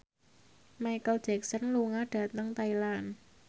Micheal Jackson lunga dhateng Thailand